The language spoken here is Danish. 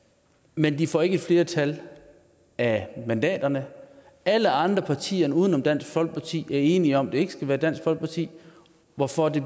men de får ikke et flertal af mandaterne alle andre partier uden om dansk folkeparti er enige om at det ikke skal være dansk folkeparti hvorfor det